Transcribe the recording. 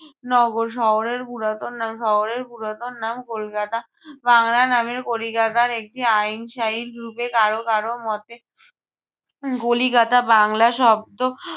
নগর। শহরের পুরাতন নাম শহরের পুরাতন নাম কলকাতা। আহ বাংলা নামের কলিকাতার একটি কারো কারো মতে কলিকাতা বাংলা শব্দ